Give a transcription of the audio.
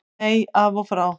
Nei, af og frá.